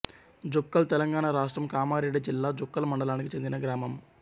జుక్కల్ తెలంగాణ రాష్ట్రం కామారెడ్డి జిల్లా జుక్కల్ మండలానికి చెందిన గ్రామం